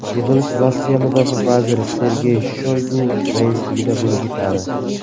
Yig‘ilish Rossiya mudofaa vaziri Sergey Shoygu raisligida bo‘lib o‘tadi.